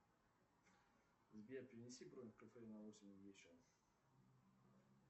сбер перенеси на восемь вечера